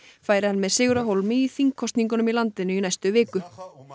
færi hann með sigur af hólmi í þingkosningum í landinu í næstu viku